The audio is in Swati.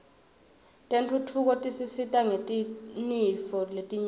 tentfutfuko tisisita ngetinifo letnyenti